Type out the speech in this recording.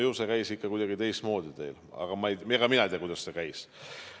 Ju see käis ikka kuidagi teistmoodi teil, aga mina ei tea, kuidas see käis.